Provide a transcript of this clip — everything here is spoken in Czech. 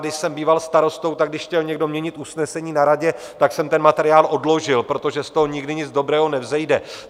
Když jsem býval starostou, tak když chtěl někdo měnit usnesení na radě, tak jsem ten materiál odložil, protože z toho nikdy nic dobrého nevzejde.